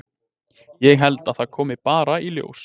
Ég held að það komi bara í ljós.